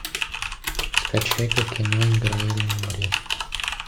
скачай ка кино играй или умри